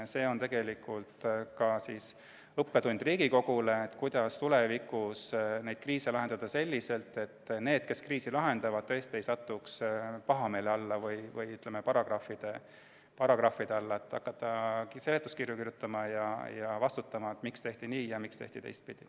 See on tegelikult õppetund ka Riigikogule, kuidas tulevikus lahendada kriise selliselt, et need, kes kriisi lahendavad, ei satuks pahameele või paragrahvide alla ega peaks hakkama seletuskirju kirjutama ja vastutama, miks tehti nii ja mitte teistpidi.